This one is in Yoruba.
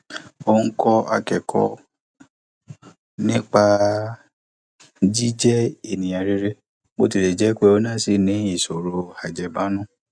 ó ń kọ akẹkọọ nípa jíjẹ ẹniyan rere bó tilẹ jẹ pé òun náà si ní ìṣòro ajẹbánu